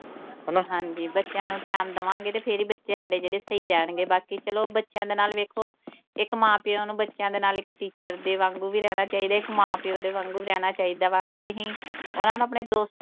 ਹਨਾ। ਹਾਂਜੀ ਬੱਚਿਆਂ ਨੂੰ time ਦਵਾਂਗੇ ਤਾਂ ਫੇਰ ਹੀ ਬੱਚੇ ਸਾਡੇ ਜਿਹੜੇ ਸਹੀ ਰਹਿਣਗੇ। ਬਾਕੀ ਚਲੋ ਬੱਚਿਆਂ ਦੇ ਨਾਲ ਵੇਖੋ ਇੱਕ ਮਾਂ ਪਿਓ ਨੂੰ ਬੱਚਿਆਂ ਦੇ ਨਾਲ ਇੱਕ teacher ਦੇ ਵਾਂਗੂੰ ਵੀ ਰਹਿਣਾ ਚਾਹੀਦਾ, ਇੱਕ ਮਾਂ ਪਿਓ ਦੇ ਵਾਂਗੂੰ ਵੀ ਰਹਿਣਾ ਚਾਹੀਦਾ ਵਾ। ਜੇ ਅਸੀਂ ਉਨ੍ਹਾਂ ਨੂੰ ਆਪਣੇ ਦੋਸਤ,